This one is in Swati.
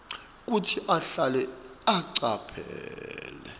kutsi ahlale acaphele